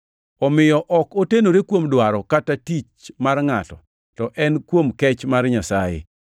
Omiyo ok otenore kuom dwaro kata tich mar ngʼato, to en kuom kech mar Nyasaye.